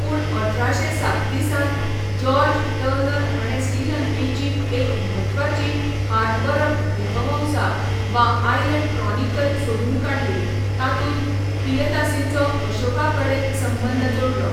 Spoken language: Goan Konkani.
पूण अठराशे सात्तीसांत जॉर्ज टर्नर हाणें श्रीलंकेची एक म्हत्वाची हातबरप दीपवंसा, वा 'आयलंड क्रॉनिकल' सोदून काडली, तातूंत पियदासीचो अशोकाकडेन संबंद जोडलो.